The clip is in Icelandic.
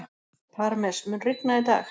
Parmes, mun rigna í dag?